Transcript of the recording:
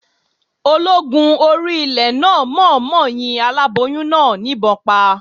Ológun orí ilẹ̀ náà mọ̀ ọ́n mọ yin aláboyún náà ìbọn pa